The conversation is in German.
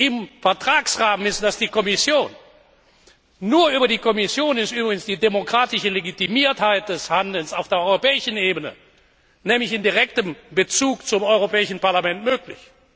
im Vertragsrahmen ist, und das ist die Kommission. Nur über die Kommission ist übrigens die demokratische Legitimiertheit des Handelns auf der europäischen Ebene, nämlich in direktem Bezug zum Europäischen Parlament, möglich.